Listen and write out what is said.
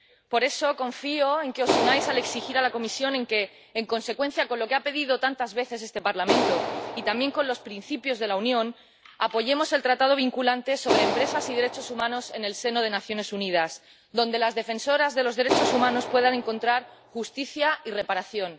Por eso confío en que os unáis para exigir a la Comisión que, en consonancia con lo que ha pedido tantas veces este Parlamento y también con los principios de la Unión, apoyemos el tratado vinculante sobre empresas y derechos humanos en el seno de las Naciones Unidas, para que las defensoras de los derechos humanos puedan encontrar justicia y reparación.